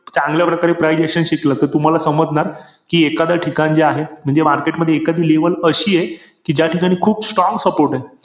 आता यावर्षी IPL अजून ब बघायला मजा येणार आहे कारण की यावर्षी सगळ्यांना free मध्ये बघायला भेटणार आहे.